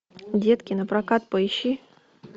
детки напрокат поищи